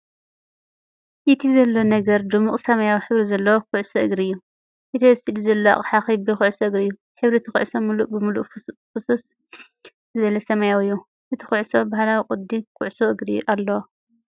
እቲ ዘሎ ነገር ድሙቕ ሰማያዊ ሕብሪ ዘለዎ ኩዕሶ እግሪ እዩ። እቲ ኣብ ስእሊ ዘሎ ኣቕሓ ክቢ ኩዕሶ እግሪ እዩ። ሕብሪ እታ ኩዕሶ ምሉእ ብምሉእ ፍኹስ ዝበለ ሰማያዊ እዩ። እታ ኩዕሶ ባህላዊ ቅዲ ኩዕሶ እግሪ ኣለዋ።